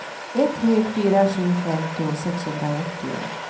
ett tre fyra sju femtio sexhundraåttio